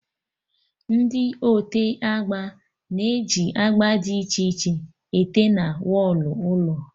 Ndị ote agba na-eji agba dị iche iche ete na wọlụ ụlọ